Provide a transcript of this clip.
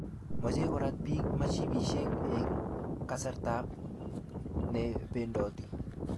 mache korat piik mshipishek eng kasarta ne pendoti